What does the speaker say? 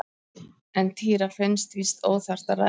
En Týra fannst víst óþarft að ræða þetta frekar.